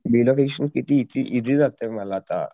किती किती इसी जातंय मला